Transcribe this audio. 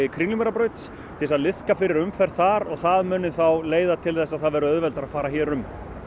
Kringlumýrarbrautar til þess að liðka fyrir umferð þar og það muni þá leiða til þess að það verði auðveldara að fara hér um